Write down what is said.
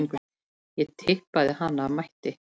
Ég tippaði hana af mætti.